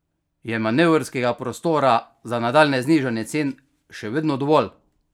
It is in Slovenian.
Je manevrskega prostora za nadaljnje znižanje cen še vedno dovolj?